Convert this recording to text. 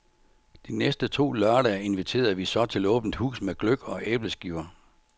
De næste to lørdage inviterede vi så til åbent hus med gløgg og æbleskiver.